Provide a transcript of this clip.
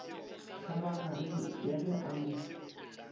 kgabagareng ya ge a mo